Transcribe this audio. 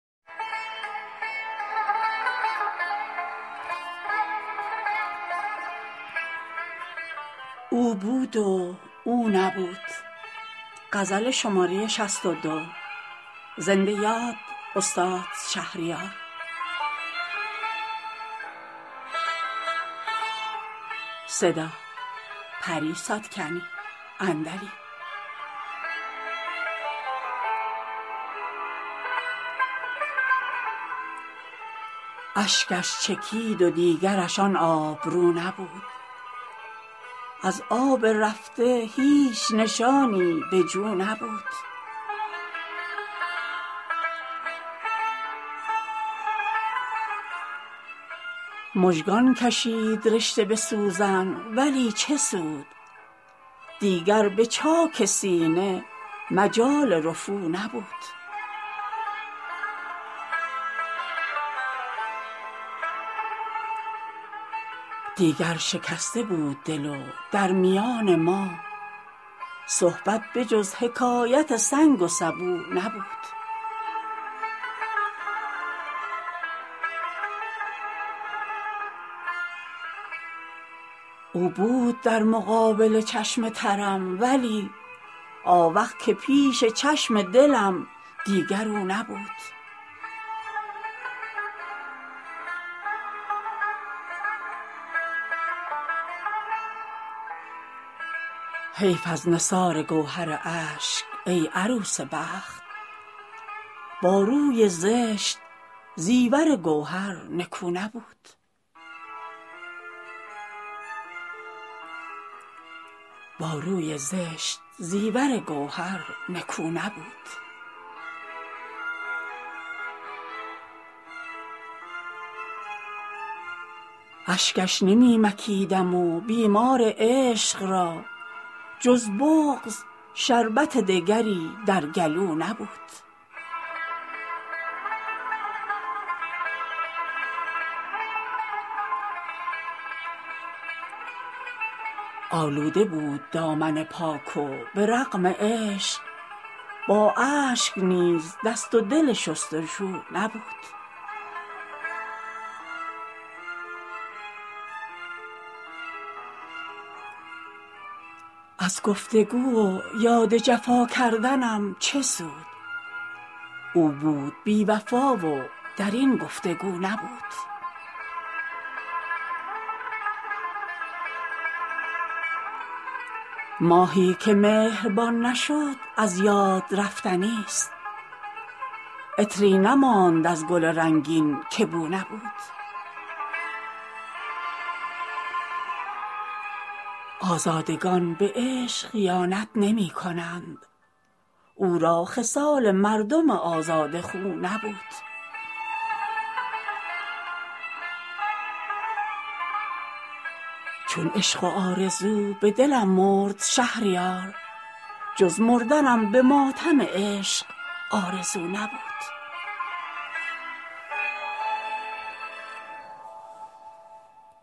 اشکش چکید و دیگرش آن آبرو نبود از آب رفته هیچ نشانی به جو نبود مژگان کشید رشته به سوزن ولی چه سود دیگر به چاک سینه مجال رفو نبود دیگر شکسته بود دل و در میان ما صحبت به جز حکایت سنگ و سبو نبود او بود در مقابل چشم ترم ولی آوخ که پیش چشم دلم دیگر او نبود حیف از نثار گوهر اشک ای عروس بخت با روی زشت زیور گوهر نکو نبود اشکش نمی مکیدم و بیمار عشق را جز بغض شربت دگری در گلو نبود آلوده بود دامن پاک و به رغم عشق با اشک نیز دست و دل شستشو نبود از گفتگو و یاد جفا کردنم چه سود او بود بی وفا و در این گفتگو نبود ماهی که مهربان نشد از یاد رفتنی است عطری نماند از گل رنگین که بو نبود آزادگان به عشق خیانت نمی کنند او را خصال مردم آزاده خو نبود چون عشق و آرزو به دلم مرد شهریار جز مردنم به ماتم عشق آرزو نبود